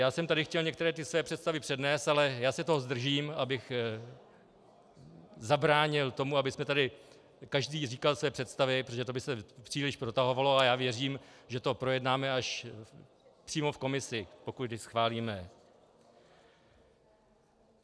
Já jsem tady chtěl některé ty své představy přednést, ale já se toho zdržím, abych zabránil tomu, aby tady každý říkal své představy, protože to by se příliš protahovalo, a já věřím, že to projednáme až přímo v komisi, pokud ji schválíme.